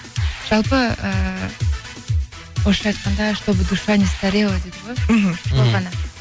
жалпы ыыы орысша айтқанда чтобы душа не старела дейді ғой мхм сол ғана